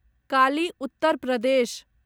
काली उत्तर प्रदेश